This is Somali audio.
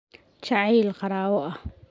Jacayl qaraabo ah.